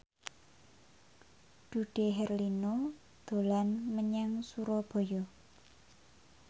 Dude Herlino dolan menyang Surabaya